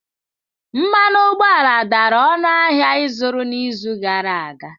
Mmanụ ụgbọala dara ọnụ ahịa ịzụrụ n'izu gara aga.